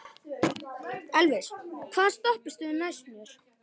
Elvis, hvaða stoppistöð er næst mér?